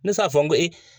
Ne t'a fɔ n ko e